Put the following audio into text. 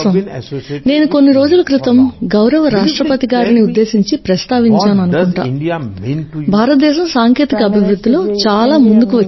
నేను కొన్ని రోజుల క్రితం గౌరవ రాష్ట్రపతి గారిని ఉద్దేశించి ప్రస్తావించాను అనుకుంటా భారతదేశం సాంకేతిక అభివృద్ధిలో చాలా ముందుకు వచ్చిందని